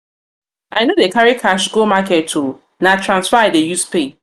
dey carry cash go market o na transfer i dey use pay.